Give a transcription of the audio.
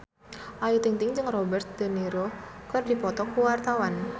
Ayu Ting-ting jeung Robert de Niro keur dipoto ku wartawan